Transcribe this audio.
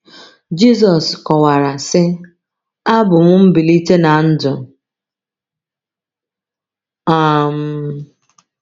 Jizọs kọwara sị: “Abụ m mgbilite na ndụ. um